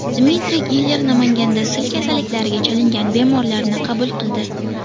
Dmitriy Giller Namanganda sil kasalliklariga chalingan bemorlarni qabul qildi.